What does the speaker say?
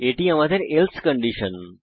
এটি আমাদের else condition